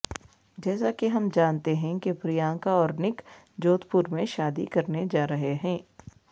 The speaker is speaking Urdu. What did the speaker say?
جیسا کہ ہم جانتے ہیں کہ پرینکا اور نک جودھپور میں شادی کرنے جارہے ہیں